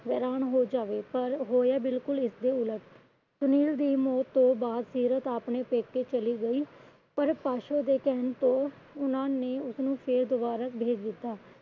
ਹੋ ਜਾਵੇ। ਪਰ ਹੋਇਆ ਬਿਲਕੁਲ ਇਸਦੇ ਉਲਟ ਸੁਨੀਲ ਦੀ ਮੌਤ ਤੋਂ ਬਾਅਦ ਸੀਰਤ ਆਪਣੇ ਪੈਕੇ ਚਲੀ ਗਈ। ਪਰ ਪਾਸ਼ੋ ਦੇ ਕਹਿਣ ਤੇ ਉਹਨਾਂ ਨੇ ਉਸਨੂੰ ਫੇਰ ਦੁਬਾਰਾ ਭੇਜ ਦਿੱਤਾ।